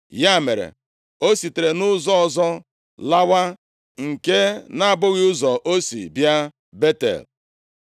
Ya mere, o sitere nʼụzọ ọzọ lawa, nke na-abụghị ụzọ o si bịa Betel.